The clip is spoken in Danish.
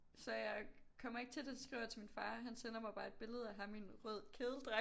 Så jeg kommer ikke til det skriver jeg til min far han sender mig bare et billede af ham i en rød kedeldragt